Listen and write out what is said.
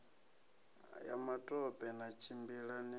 ya matope na tshimbila ni